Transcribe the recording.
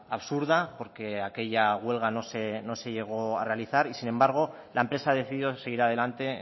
absurda porque aquella huelga no se llegó a realizar y sin embargo la empresa decidió seguir adelante